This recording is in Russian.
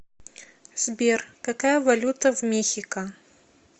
сбер какая валюта в мехико